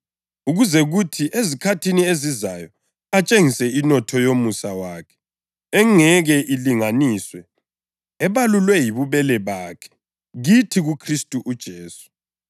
ukuze kuthi ezikhathini ezizayo atshengise inotho yomusa wakhe engeke ilinganiswe, ebalulwe yibubele bakhe kithi kuKhristu uJesu.